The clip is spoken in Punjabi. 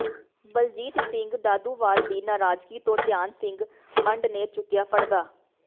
ਬਲਜੀਤ ਸਿੰਘ ਦਾਦੂਵਾਲ ਦੀ ਨਰਾਜ਼ਗੀ ਤੋਂ ਧਿਆਨ ਸਿੰਘ ਮੰਡ ਨੇ ਚੁੱਕਿਆ ਪਰਦਾ